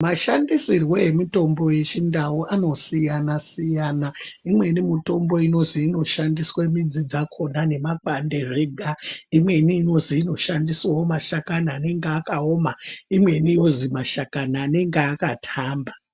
Mashandisirwe emutombo yeChiNdau anosiyana-siyana. Imweni mutombo inozi inoshandiswe midzi dzakona nemakwande zvega, imweni inozi inoshandisawo mashakani anenge akaoma, imweni yozi mashakani anenge akatamba.